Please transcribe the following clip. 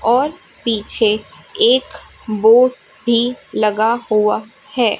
और पीछे एक वो भी लगा हुआ हैं।